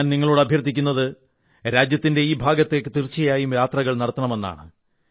ഞാൻ നിങ്ങളോടും അഭ്യർഥിക്കുന്നത് രാജ്യത്തിന്റെ ഈ ഭാഗത്തേക്ക് തീർച്ചയായും യാത്രകൾ നടത്തണമെന്നാണ്